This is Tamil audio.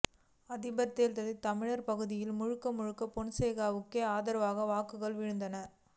அதிபர் தேர்தலில் தமிழர் பகுதிகளில் முழுக்க முழுக்க பொன்சேகாவுக்கே ஆதரவாக வாக்குகள் விழுந்தன